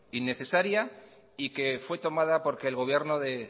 innecesaria y que fue tomada porque el gobierno de